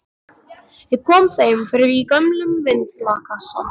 Ég kom þeim fyrir í gömlum vindlakassa.